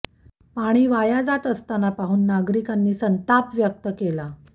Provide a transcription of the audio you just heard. पाणी वाया जात असतांना पाहून नागरिकांनी संताप व्यक्त केला